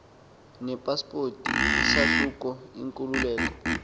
nepaspoti isahluko inkululeko